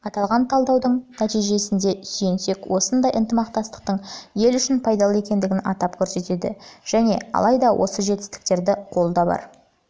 аталған талдаудың нәтижесіне сүйенсек осындай ынтымақтастықтың ел үшін пайдалы екендігін атап көрсетеді және алайда оның жетістіктері қолда бар